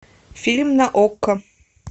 фильм на окко